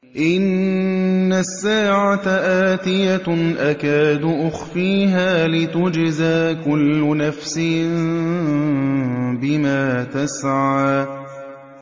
إِنَّ السَّاعَةَ آتِيَةٌ أَكَادُ أُخْفِيهَا لِتُجْزَىٰ كُلُّ نَفْسٍ بِمَا تَسْعَىٰ